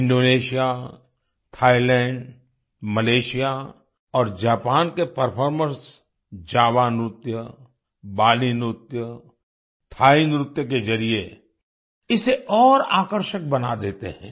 Indonesia Thailand Malaysia और Japan के performers Java नृत्य बाली नृत्य थाई नृत्य के जरिए इसे और आकर्षक बना देते हैं